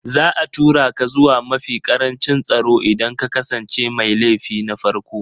Za a tura ka zuwa mafi ƙarancin tsaro idan ka kasance mai laifi na farko